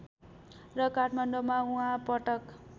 र काठमाडौँमा उहाँ पटक